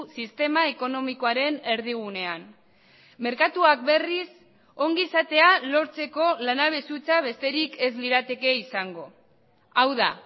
sistema ekonomikoaren erdigunean merkatuak berriz ongizatea lortzeko lanabes hutsa besterik ez lirateke izango hau da